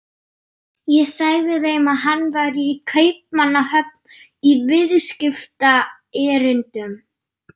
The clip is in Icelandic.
Ég sagði þeim að hann væri í Kaupmannahöfn í viðskiptaerindum.